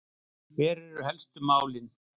Hver eru helstu málin?